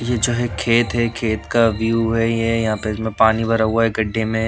ये चाहे खेत है खेत का व्यू है ये यहां पे इसमें पानी भरा हुआ है गड्ढे में।